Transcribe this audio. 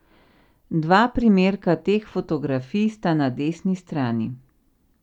Dva primerka teh fotografij sta na desni strani.